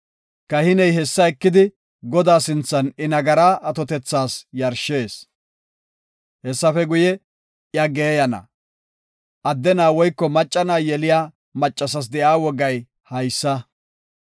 Kahiney hessa ekidi Godaa sinthan I nagaraa atotethas yarshees. Hessafe guye, iya geeyana. Adde na7a woyko macca na7a yeliya maccasas de7iya wogay haysa.